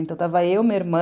Então, estava eu, meu irmão...